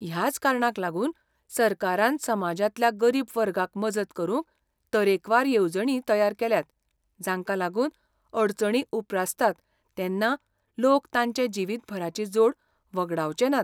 ह्याच कारणाक लागून सरकारान समाजांतल्या गरीब वर्गाक मजत करूंक तरेकवार येवजणी तयार केल्यात , जांका लागून, अडचणी उपरासतात तेन्ना लोक तांचे जिवीतभराची जोड वगडावचेनात.